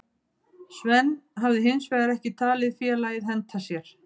Sven hafi hinsvegar ekki talið félagið henta sér.